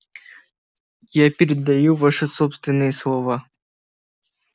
я передаю ваши собственные слова